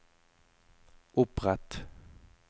opprett